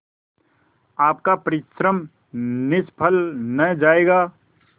आपका परिश्रम निष्फल न जायगा